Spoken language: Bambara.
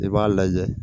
I b'a lajɛ